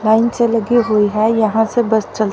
line से लगी हुई है यहां से बस चल--